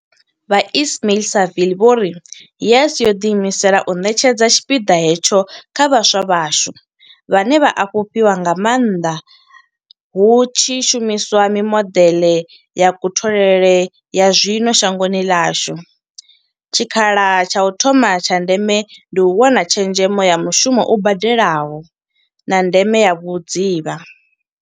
Vho Ismail-Saville vho ri, YES yo ḓiimisela u ṋetshedza tshipiḓa hetsho kha vhaswa vhashu, vhane vha a fhufhiwa nga maanḓa hu tshi shumiswa mimodeḽe ya kutholele ya zwino shangoni ḽashu, tshikhala tsha u thoma tsha ndeme ndi u wana tshezhemo ya mushumo u badelaho, na ndeme ya vhudzivha.